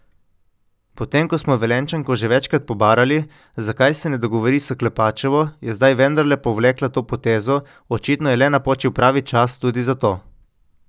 Potem ko smo Velenjčanko že večkrat pobarali, zakaj se ne dogovori s Klepačevo, je zdaj vendarle povlekla to potezo, očitno je le napočil pravi čas tudi za to.